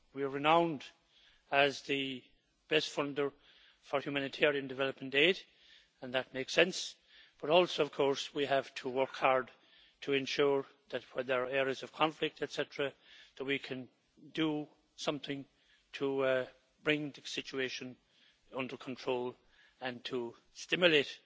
We are renowned as the best funder for humanitarian development aid and that makes sense, but also we have to work hard to ensure that when there are areas of conflict, et cetera, that we can do something to bring the situation under control and to stimulate